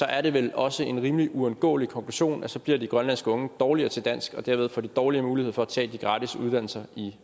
er det vel også en rimelig uundgåelig konklusion at så bliver de grønlandske unge dårligere til dansk og derved får dårligere mulighed for at tage de gratis uddannelser i